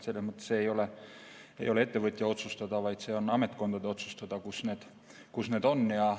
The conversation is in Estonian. See ei ole ettevõtja otsustada, see on ametkondade otsustada, kus need on.